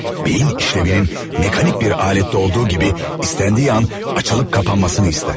Beyin işlevinin mekanik bir alette olduğu gibi istendiği an açılıp kapanmasını ister.